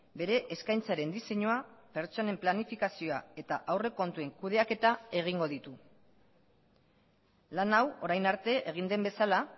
bere eskaintzaren diseinua pertsonen planifikazioa eta aurrekontuen kudeaketa egingo ditu lan hau orain arte egin den bezala